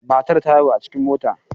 Matar ta haihu a cikin mota.